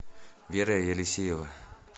вера елисеева